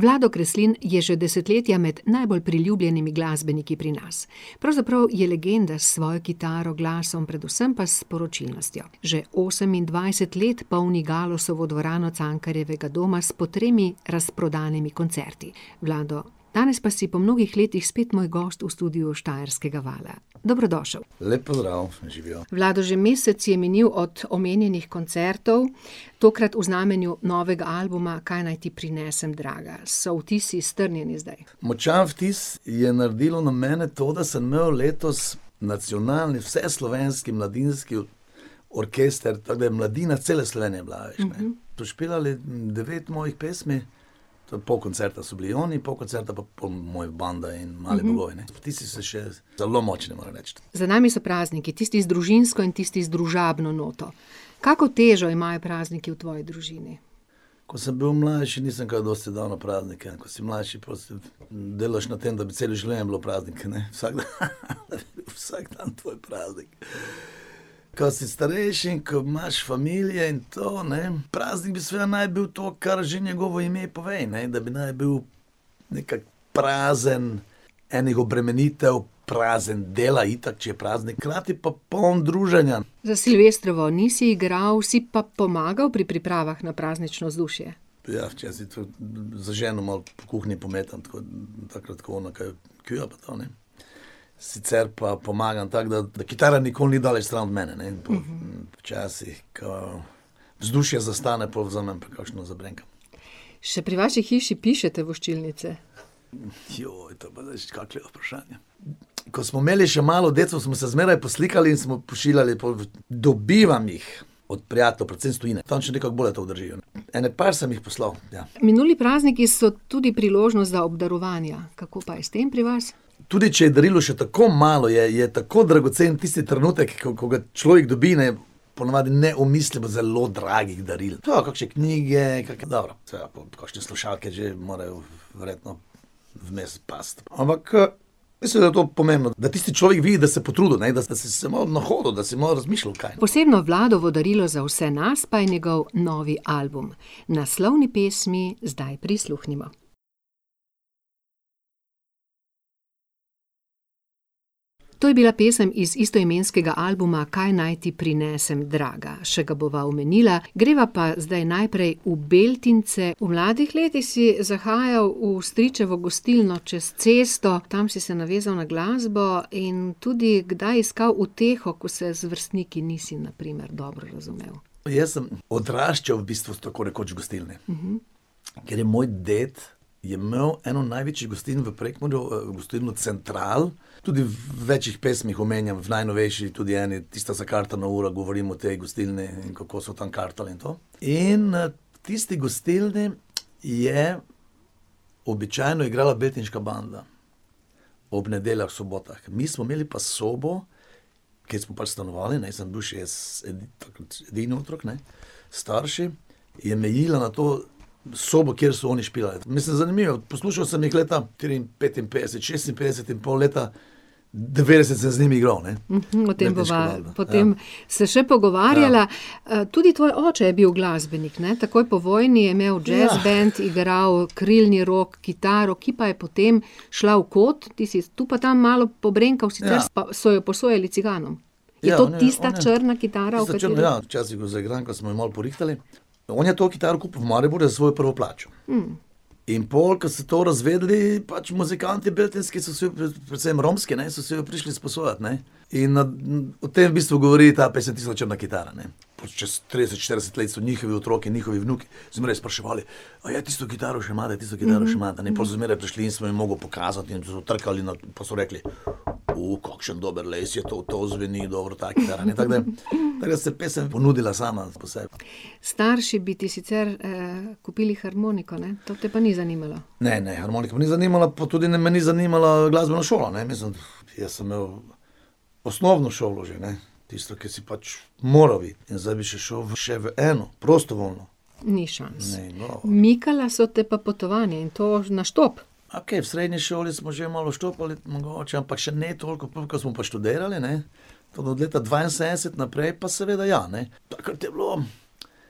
Vlado Kreslin je že desetletja med najbolj priljubljenimi glasbeniki pri nas. Pravzaprav je legenda s svojo kitaro, glasom, predvsem pa s sporočilnostjo. Že osemindvajset let polni Galusovo dvorano Cankarjevega doma s po tremi razprodanimi koncerti. Vlado, danes pa si po mnogih letih spet moj gost v studiu Štajerskega vala. Dobrodošel. Lep pozdrav, živjo. Vlado, že mesec je minilo od omenjenih koncertov, tokrat v znamenju novega albuma Kaj naj ti prinesem, draga? So vtisi strnjeni zdaj? Močan vtis je naredilo na mene to, da sem malo letos nacionalni vseslovenski mladinski orkester, pa da je mladina, cela Slovenija je bila, a veš, kaj. So špilali devet mojih pesmi, to, po koncertu, so bili oni, po koncertu pa po moje banda in Mali bogovi, ne. Vtisi so še zelo močni, moram reči. Za nami so prazniki, tisti z družinsko in tisti z družabno noto. Kako težo imajo prazniki v tvoji družini? Ko sem bil mlajši, nisem kaj dosti dal na praznike, ko si mlajši, delaš na tem, da bi celo življenje bilo praznik, ne, vsak dan. Vsak dan tvoj praznik. Ka si starejši, ko imaš familije in to, ne, praznik bi seveda bil naj bi to, kar že njegovo ime pove, ne, da bi naj bil nekako prazen enih obremenitev, prazen dela, itak, če je praznik, hkrati pa poln druženja. Za silvestrovo nisi igral, si pa pomagal pri pripravah na praznično vzdušje. Ja, včasih tudi z ženo malo po kuhinji pometam, tako takrat ko ona kaj kuha pa to, ne. Sicer pa pomagam tako, da, da kitara nikoli ni daleč stran od mene, ne, in včasih, ko vzdušje zastane, pol vzamem pa kakšno zabrenkam. Še pri vaši hiši pišete voščilnice? to pa nič vprašanja. Ko smo imeli še malo deco, smo se zmeraj poslikali in smo pošiljali pol. Dobivam jih od prijateljev, predvsem s tujine, tam še nekako bolje to držijo. Ene par sem jih poslal, ja. Minuli prazniki so tudi priložnost za obdarovanja. Kako pa je s tem pri vas? Tudi če je darilo še tako malo, je, je tako dragocen tisti trenutek, ko, ko ga človek dobi, ne, ponavadi ne omislim zelo dragih daril. To, kakšne knjige, kake , kakšne slušalke že morajo verjetno vmes pasti. Ampak, mislim, da je to pomembno, da tisti človek vidi, da si se potrudil, ne, da si se malo nahodil, da si malo razmišljal, kaj. Posebno Vladovo darilo za vse nas pa je njegov novi album. Naslovni pesmi zdaj prisluhnimo. To je bila pesem iz istoimenskega albuma Kaj naj ti prinesem, draga. Še ga bova omenila. Greva pa zdaj najprej v Beltince, v mladih letih si zahajal v stričevo gostilno čez cesto, tam si se navezal na glasbo in tudi kdaj iskal uteho, ko se z vrstniki nisi na primer dobro razumel. Jaz sem odraščal v bistvu tako rekoč v gostilni. Ker je moj ded, je imel eno največjih gostiln v Prekmurju, gostilno Central, tudi v večih pesmih omenjam, v najnovejši tudi eni, Tista zakartana ura, govorim o tej gostilni, kako so tam kartali in to. In, v tisti gostilni je običajno igrala Beltinška banda. Ob nedeljah, sobotah. Mi smo imeli pa sobo, kjer smo pač stanovali, ne, jaz sem bil šest, sedem, takrat edini otrok, ne, s starši, je mejila na to sobo, kjer so oni špilali. Mislim zanimivo, poslušal sem jih leta petinpetdeset, šestinpetdeset, in pol leta devetdeset sem z njimi igral, ne. o tem bova Beltinška banda. potem Ja. se še pogovarjala, tudi tvoj oče je bil glasbenik, ne, takoj po vojni je imel džez band, igral krilni rog, kitaro, ki pa je potem šla v kot. Ti si tu pa tam malo pobrenkal, sicr so jo posojali ciganom. Ja, ona, tista črna, ja. Je to tista črna kitara, o kateri ... Včasih jo zaigram, ko smo jo malo porihtali. On je to kitaro kupil v Mariboru za svojo prvo plačo. In pol, ko so to razvedeli, pač muzikantje beltinski, so si jo, predvsem romski, ne, so si jo prišli sposojat, ne. In, o tem v bistvu govori ta pesem Tista črna kitara, ne. Pa čez trideset, štirideset let so njihovi otroci, njihovi vnuki, so me res spraševali: "A je tisto kitaro še ima, tisto kitaro še ima?" In pol so zmeraj prišli in sem jim mogel pokazati in so trkali na pa so rekli: kakšen dober les je to, to zveni dobro ta kitara, tako da res se je pesem ponudila sama po sebi." Starši bi ti sicer, kupili harmoniko, ne, to te pa ni zanimalo? Ne, ne, harmonika me ni zanimala, pa tudi ne, me ni zanimala glasbena šola, ne, mislim, jaz sem imel osnovno šolo že, ne. Tisto, ki si pač moral iti. In zdaj bi še šel še v eno, prostovoljno. Ni šans. Ne, Mikala so te pa potovanja, in to na štop. A kaj, v srednji šoli smo že malo štopali mogoče, ampak še ne toliko, pol, ko smo pa študirali, ne, tam od leta dvainsedemdeset naprej pa seveda ja, ne. Takrat je bilo